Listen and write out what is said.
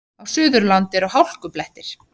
Á Suðurlandi eru hálkublettir